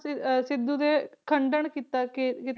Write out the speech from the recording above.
ਤੇ ਸਿੱਧੂ ਨੇ ਖੰਡਨ ਕੀਤਾ ਕਿ